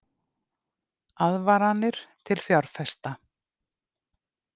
Aðvaranir til fjárfesta